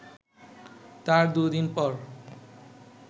তার দু’দিন পর